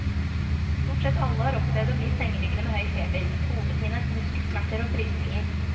Stort sett alle har opplevd å bli sengeliggende med høy feber, hodepine, muskelsmerter og frysninger.